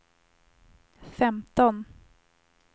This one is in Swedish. femton